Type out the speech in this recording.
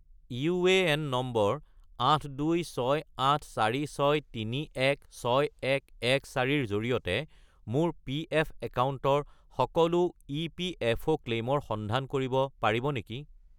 UAN number 826846316114 -ৰ জৰিয়তে মোৰ পিএফ একাউণ্টৰ সকলো ইপিএফঅ’ ক্লেইমৰ সন্ধান কৰিব পাৰিব নেকি?